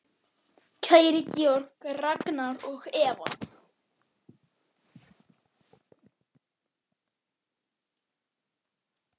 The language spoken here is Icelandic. Kæri Georg, Ragnar og Eva.